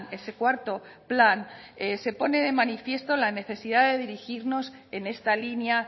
ese cuarto plan se pone de manifiesto la necesidad de dirigirnos en esta línea